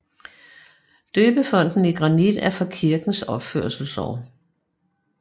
Døbefonten i granit er fra kirkens opførelsesår